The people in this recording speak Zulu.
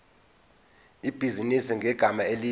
ibhizinisi ngegama elithi